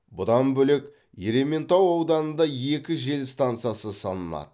бұдан бөлек ерейментау ауданында екі жел стансасы салынады